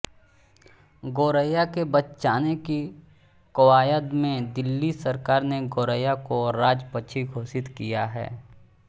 गौरैया के बचाने की कवायद में दिल्ली सरकार ने गौरैया को राजपक्षी घोषित किया है